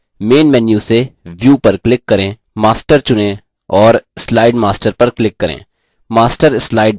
main menu से view पर click करें master चुनें और slide master पर click करें